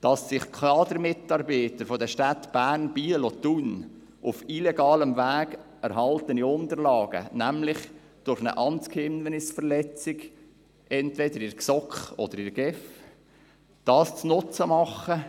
Dass sich Kadermitarbeiter der Städte Bern, Biel und Thun Unterlagen zunutze machen, die sie auf illegalem Weg erhalten haben – nämlich durch eine Amtsgeheimnisverletzung entweder seitens der GSoK oder der GEF